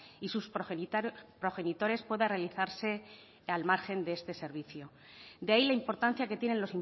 y sus progenitores pueda realizarse al margen de este servicio de ahí la importancia que tienen